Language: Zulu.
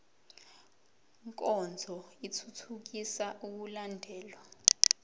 nkonzo ithuthukisa ukulandelwa